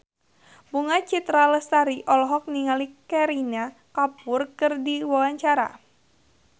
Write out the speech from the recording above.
Bunga Citra Lestari olohok ningali Kareena Kapoor keur diwawancara